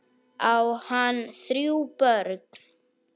Á hann þrjú börn.